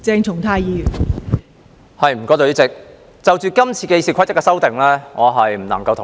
代理主席，就今次對《議事規則》所作的修訂，我不能同意。